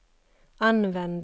använda